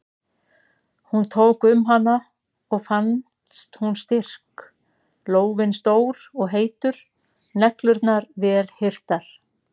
Hún tók um hana og fannst hún styrk, lófinn stór og heitur, neglurnar vel hirtar.